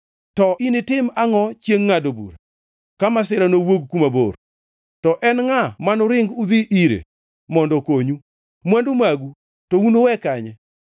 To initim angʼo chiengʼ ngʼado bura, ka masira nowuog kuma bor? To en ngʼa manuring udhi ire mondo okonyu? Mwandu magu to unuwe kanye?